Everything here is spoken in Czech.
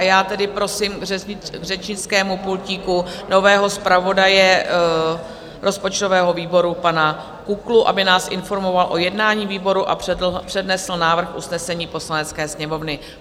A já tedy prosím k řečnickému pultíku nového zpravodaje rozpočtového výboru, pana Kuklu, aby nás informoval o jednání výboru a přednesl návrh usnesení Poslanecké sněmovny.